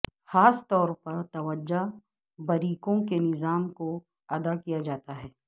خاص طور پر توجہ بریکوں کے نظام کو ادا کیا جاتا ہے